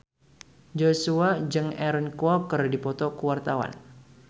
Joshua jeung Aaron Kwok keur dipoto ku wartawan